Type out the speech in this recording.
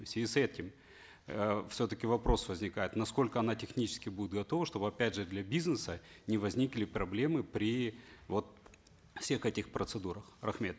в связи с этим э все таки вопрос возникает насколько она технически будет готова чтобы опять же для бизнеса не возникли проблемы при вот всех этих процедурах рахмет